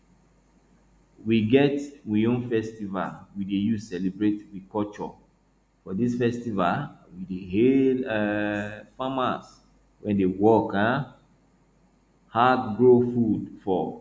we get we own festival we dey use celebrate we culture for dis festival we dey hail um farmers wey dey work um hard grow food for